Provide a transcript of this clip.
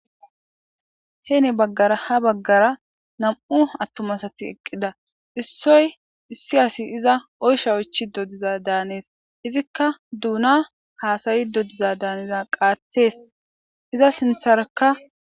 hene baggara ha baggara nam7u attumasati eqqida issoy issi asi iza oysha ouchi dodiza daanees izikka duuna haasayi dodiza daaneza qaathees iza sintharakka